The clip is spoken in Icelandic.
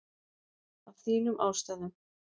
Af þínum ástæðum.